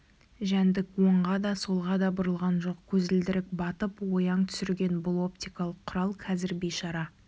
жәндік оңға да солға да бұрылған жоқ көзілдірік батып ояң түсірген бұл оптикалық құрал қазір бейшара